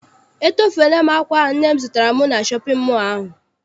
Etofela m akwa ahụ nne m zụtara m na shọpịn mọọ a.